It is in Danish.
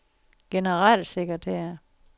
generalsekretær